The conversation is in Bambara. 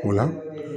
O la